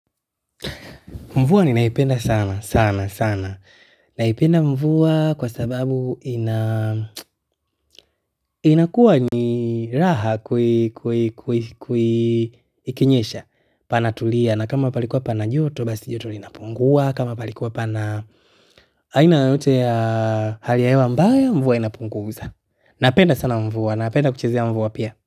Mvua ninaipenda sana sana sana naipenda mvua kwa sababu inakuwa ni raha ikinyesha panatulia na kama palikuwa pana joto basi joto linapungua kama palikuwa pana aina yoyote ya hali ya hewa mbaya mvua inapunguza napenda sana mvua, napenda kuchezea mvua pia.